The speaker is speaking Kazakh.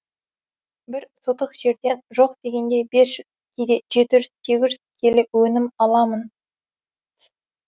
бір сотық жерден жоқ дегенде бес жүз кейде жеті жүз сегіз жүз келі өнім аламын